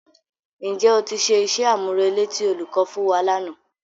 Ǹ jẹ́ o ti ṣe iṣẹ́-àmúrelé tí olùkọ́ fún wa lánàá?